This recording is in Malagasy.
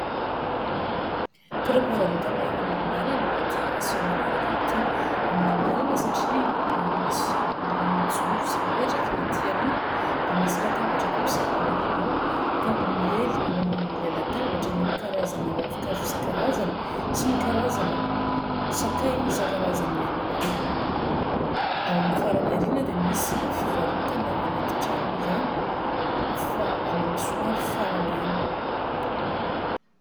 Toeram-pivarotana amoron-dalana ity aseho manaraka ity. Amoron-dalana satria, raha misy olona mijoro sy mipetraka ety aloha ; dia misy latabatra kosa ao aoriana ao. Ka miely eo ambonin' ilay latabatra ny karazana ravinkazo isankarazany, sy ny karazana sakay isankarazany ihany koa. Ao amin'ny farany aoriana dia misy fivarotana anaty trano ihany, fa any amin'ny somary farany any.